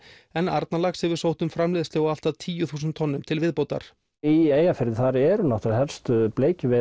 en Arnarlax hefur sótt um framleiðslu á allt að tíu þúsund tonnum til viðbótar í Eyjafirði þar eru náttúrulega helstu